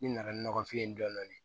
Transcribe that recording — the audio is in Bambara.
Ne nana ni nɔgɔfiye dɔɔnin